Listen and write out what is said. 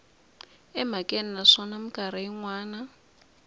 emhakeni naswona mikarhi yin wana